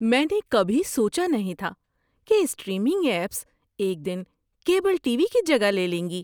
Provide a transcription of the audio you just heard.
میں نے کبھی سوچا نہیں تھا کہ اسٹریمنگ ایپس ایک دن کیبل ٹی وی کی جگہ لے لیں گی۔